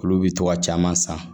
Olu bi to ka caman san